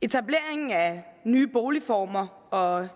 etableringen af nye boligformer og